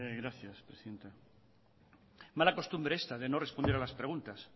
gracias presidenta mala costumbre esta de no responder a las preguntas